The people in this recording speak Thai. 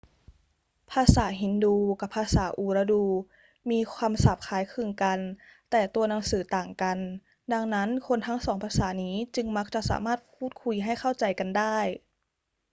ภาษาฮินดูกับภาษาอูรดูมีคำศัพท์คล้ายคลึงกันแต่ตัวหนังสือต่างกัน ดังนั้น คนทั้งสองภาษานี้จึงมักจะสามารถพูดคุยให้เข้าใจกันได้